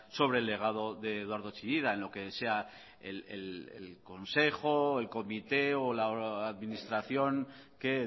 sobre el legado de eduardo chillida en lo que sea el consejo el comité o la administración que